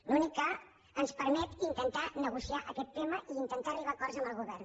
l’únic que ens permet intentar negociar aquest tema i intentar arribar a acords amb el govern